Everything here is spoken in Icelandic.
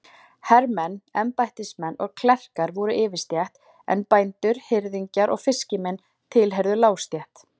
Hermenn, embættismenn og klerkar voru yfirstétt, en bændur, hirðingjar og fiskimenn tilheyrðu lágstétt.